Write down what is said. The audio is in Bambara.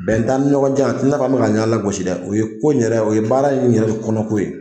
Bɛn t'an ni ɲɔgɔn cɛ , a ti nafɔ an be ka ɲɔgɔn lagosi dɛ! o ye baarako in yɛrɛ , o ye ko in yɛrɛ kɔnɔ ko ye.